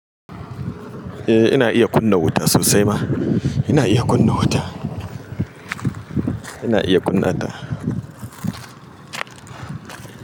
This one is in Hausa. Eh ina iya kunna wuta sosai ma. Ina iya kunna wuta. Ina iya kunnata.